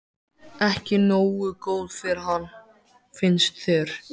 Ekki nógu góð fyrir hann, finnst þér.